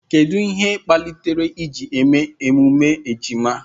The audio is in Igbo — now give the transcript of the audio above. Kedu ihe kpatara eji eme emume ejima?